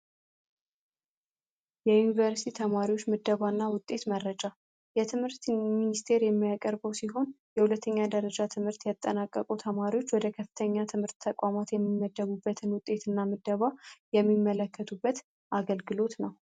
የዩኒቨርሲቲ ተማሪዎች ውጤት ምደባ ናቸውየሁለተኛ ደረጃ ትምህርት ያጠናቀቁ ተማሪዎች ወደ ከፍተኛ ትምህርት የሚመደቡበትን ውጤት ምደባ የሚመለከቱበት አገልግሎት ነው።